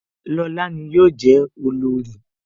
Lóla ni yọ je olorì